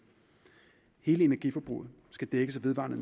hele energiforbruget skal dækkes af vedvarende